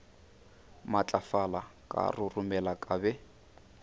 matlafala ka roromela ka be